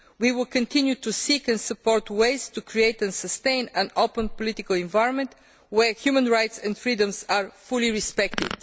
We will continue to seek and support ways to create and sustain an open political environment where human rights and freedoms are fully respected.